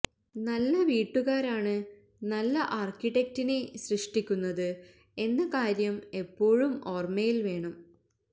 നല്ല വീട്ടുകാരാണ് നല്ല ആർക്കിടെക്ടിനെ സൃഷ്ടിക്കുന്നത് എന്ന കാര്യം എപ്പോഴും ഒാർമയിൽ വേണം